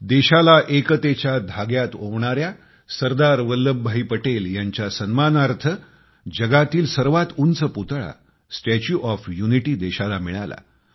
देशाला एकतेच्या धाग्यात ओवणाऱ्या सरदार वल्लभभाई पटेलांच्या सन्मानार्थ जगातील सर्वात उंच पुतळा स्टॉट ओएफ युनिटी देशाला मिळाला